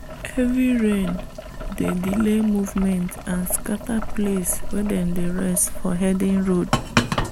heavy rain dey delay movement and scatter place wen them dey rest for herding road.